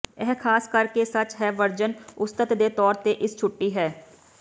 ਇਹ ਖਾਸ ਕਰਕੇ ਸੱਚ ਹੈ ਵਰਜਨ ਉਸਤਤ ਦੇ ਤੌਰ ਤੇ ਇਸ ਛੁੱਟੀ ਹੈ